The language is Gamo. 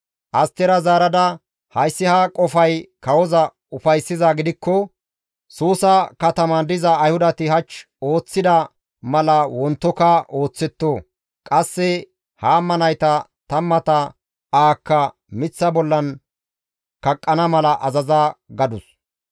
Astera zaarada, «Hayssi ha qofay kawoza ufayssizaa gidikko, Suusa kataman diza Ayhudati hach ooththida mala wontoka ooththetto. Qasse Haama nayta tammata ahakka miththa bollan kaqqana mala azaza» gadus.